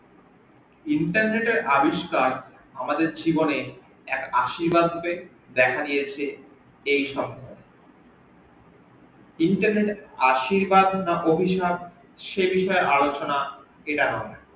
internet এর আবিস্কার আমাদের জীবনে এক আশির্বাদ রুপে দেখা দিয়েছে এই সমাজে internet এর আশির্বাদ না অভিশাপ সে বিষয়ে আলচনা